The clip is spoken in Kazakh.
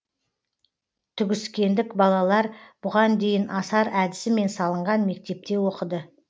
түгіскендік балалар бұған дейін асар әдісімен салынған мектепте оқыды